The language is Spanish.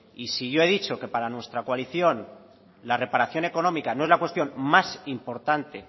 y si yo he dicho que para nuestra coalición la reparación económica no es la cuestión más importante